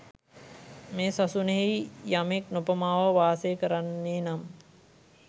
මේ සසුනෙහි යමෙක් නොපමාව වාසය කරන්නේ නම්